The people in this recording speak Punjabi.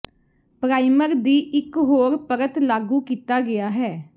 ਪਰਾਈਮਰ ਦੀ ਇਕ ਹੋਰ ਪਰਤ ਲਾਗੂ ਕੀਤਾ ਗਿਆ ਹੈ